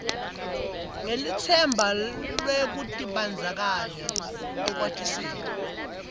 ngelitsemba lwekutibandzakanya ekwatiseni